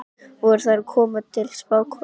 Voru þær að koma til spákonunnar?